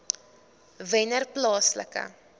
wennerplaaslike